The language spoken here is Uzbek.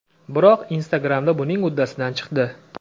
Biroq Instagramda buning uddasidan chiqdi.